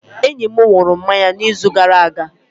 Enyi m nwụrụ mama ya n'izu gara aga